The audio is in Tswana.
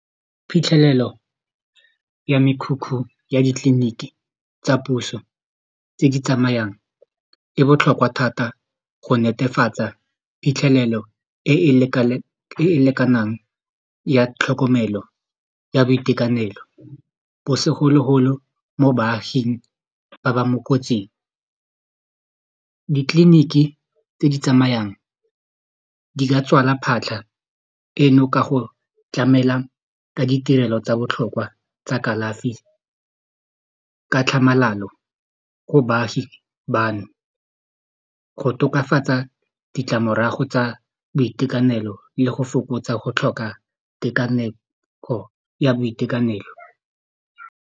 Phitlhelelo ya mekhukhu ya ditleliniki tsa puso tse di tsamayang e botlhokwa thata go netefatsa phitlhelelo e e lekanang ya tlhokomelo ya boitekanelo bo segologolo mo baaging ba ba mo kotsing ditleliniki tse di tsamayang di ka tswala phatlha eno ka go tlamela ka ditirelo tsa botlhokwa tsa kalafi ka tlhamalalo go baagi bano go tokafatsa ditlamorago tsa boitekanelo le go fokotsa go tlhoka tekaneko ya boitekanelo.